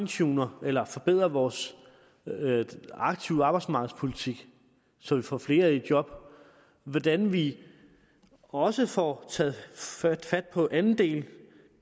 tuner eller forbedrer vores aktive arbejdsmarkedspolitik så vi får flere i job og hvordan vi også får taget fat fat på anden del